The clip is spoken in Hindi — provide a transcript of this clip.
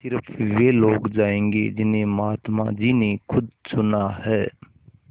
स़िर्फ वे लोग जायेंगे जिन्हें महात्मा जी ने खुद चुना है